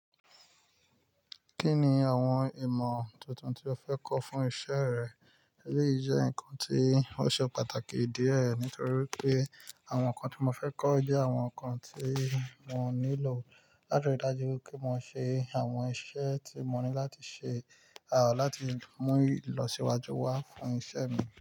Kí ni àwọn ìmọ̀ tuntun tí o fẹ́ kọ́ fún iṣẹ́ rẹ? Èleyí jẹ́ nǹkan tí ó ṣe pàtàkì díẹ̀ nítorí pé àwọn nǹkan tí mo fẹ́ kọ́ jẹ́ àwọn nǹkan tí mo nílò láti rí dájú pé mo ṣe àwọn iṣẹ́ tí mo ní láti ṣe, àa láti mú ìlọsíwájú wá fún iṣẹ́ mi.